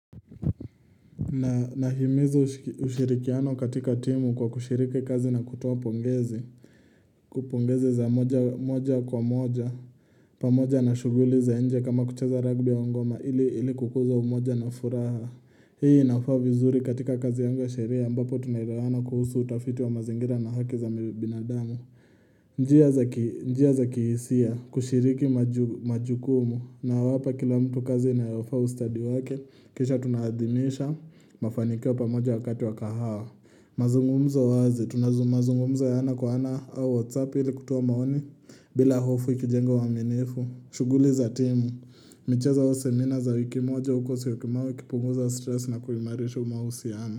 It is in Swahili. Na nahimiza ushirikiano katika timu kwa kushiriki kazi na kutoa pongezi. Kupongezi za moja kwa moja. Pamoja na shughuli za inje kama kucheza ragbi au ngoma ili kukuza umoja na furaha. Hii inafaa vizuri katika kazi yangu ya sheria ambapo tunaelewana kuhusu utafiti wa mazingira na haki za binadamu. Njia za kihisia kushiriki majukumu na wapa kila mtu kazi unayofaa ustadi wake. Kisha tunahadhimisha mafanikiwa pamoja wakati wakahawa mazungumzo wazi, tunazungumza ana kwa ana au whatsapp ili kutoa maoni bila hofu ikijenga uaminifu, shughuli za timu michezo au seminar za wiki moja uko syokimau ikipunguza stress na kuhimarisha mahusiano.